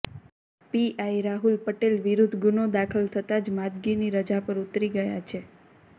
PI Rahul Patel વિરુદ્ધ ગુનો દાખલ થતાં જ માદગીની રજા પર ઊતરી ગયા છે